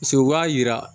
u b'a yira